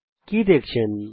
আপনি কি লক্ষ্য করলেন